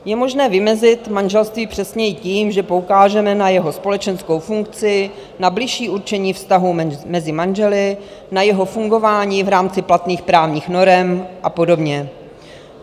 Je možné vymezit manželství přesněji tím, že poukážeme na jeho společenskou funkci, na bližší určení vztahů mezi manželi, na jeho fungování v rámci platných právních norem a podobně.